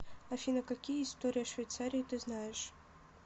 афина какие история швейцарии ты знаешь